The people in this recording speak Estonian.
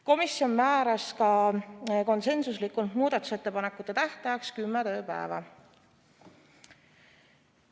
Komisjon määras ka konsensuslikult muudatusettepanekute tähtajaks kümme tööpäeva.